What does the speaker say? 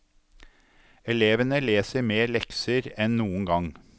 Elevene leser mer lekser enn noen gang.